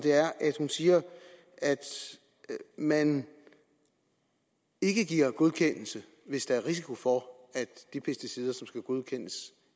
siger at man ikke giver godkendelse hvis der er risiko for at de pesticider der skal godkendes